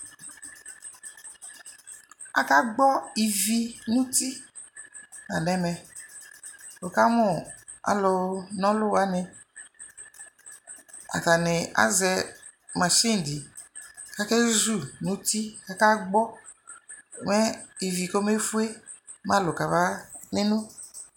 Akagbɔ ivi nu uti la nu ɛmɛ wukamu alu na ɔlu wani atani azɛ masini di ku akezu nu uti ku akagbɔ mɛ ivi kɔmefue mɛ alu kabaneno